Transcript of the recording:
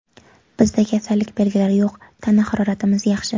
Bizda kasallik belgilari yo‘q, tana haroratimiz yaxshi.